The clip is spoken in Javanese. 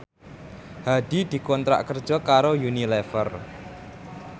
Hadi dikontrak kerja karo Unilever